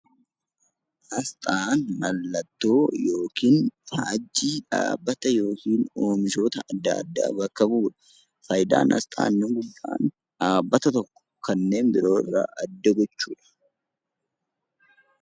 Asxaan mallattoo yookiin faajjii dhaabbata yookiin oomishoota adda addaa bakka bu'uu dha. Faayidaan asxaa inni guddaan dhaabbata tokko kanneen biroo irraa adda gochuu dha.